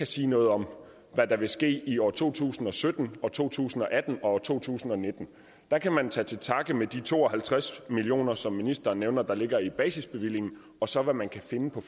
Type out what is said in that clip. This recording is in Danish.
sige noget om hvad der vil ske i år to tusind og sytten og to tusind og atten og to tusind og nitten der kan man tage til takke med de to og halvtreds million kr som ministeren nævner ligger i basisbevillingen og så hvad man kan finde på